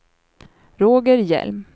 Roger Hjelm